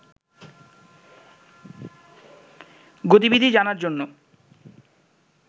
গতিবিধি জানার জন্য